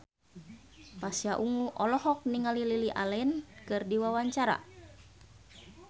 Pasha Ungu olohok ningali Lily Allen keur diwawancara